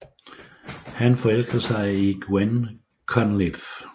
Han forelsker sig i Gwen Conliffe